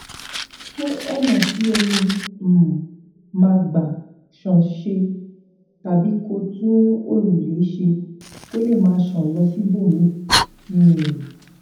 tún ònà tí omi um máa gbà ṣàn ṣe tàbí kó tún òrùlé ṣe kó lè máa ṣàn lọ síbòmíì um